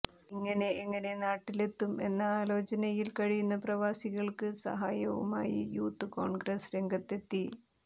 ഇങ്ങനെ എങ്ങനെ നാട്ടിലെത്തും എന്ന ആലോചനയിൽ കഴിയുന്ന പ്രവാസികൾക്ക് സഹായവുമായി യൂത്ത് കോൺഗ്രസ് രംഗത്തെത്തി